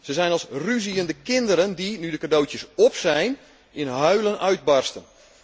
Zij zijn als ruziënde kinderen die, nu de cadeautjes op zijn, in huilen uitbarsten.